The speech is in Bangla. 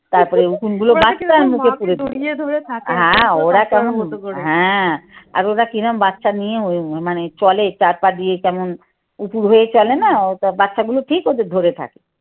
তারপরে উকুন গুলো বাছতো আর মুখে তুলে তুলে হ্যাঁ, ওরা কেমন হ্যাঁ আর ওরা কিরম বাচ্চা নিয়ে মানে চলে চার পা দিয়ে কেমন উপুর হয়ে চলে না বাচ্চাগুলো ঠিক ওদের ধরে থাকে।